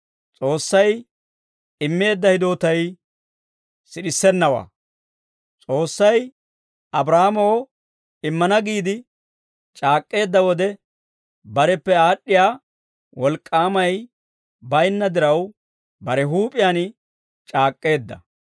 S'oossay Abraahaamoo immana giide c'aak'k'eedda wode, bareppe aad'd'iyaa wolk'k'aamay baynna diraw, bare huup'iyaan c'aak'k'eedda.